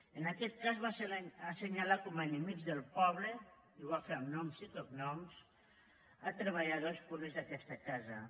en aquest cas va assenyalar com a enemics del poble i ho va fer amb noms i cognoms treballadors públics d’aquesta casa